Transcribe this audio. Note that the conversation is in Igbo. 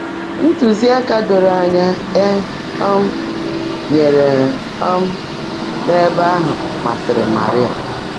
Ntụ́zíáká dóró ányá é um nyèèré um n’ébè áhụ́ màsị́rị́ Màríà.